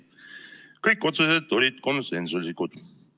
Kõik otsused olid konsensuslikud.